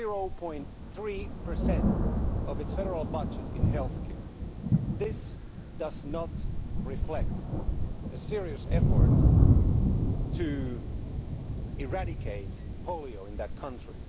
0.3 of its federal budget on healthcare. This does not reflect a serious effort to eradicate polio in that country.